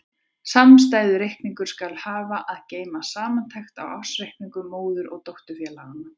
Samstæðureikningur skal hafa að geyma samantekt á ársreikningum móður- og dótturfélaganna.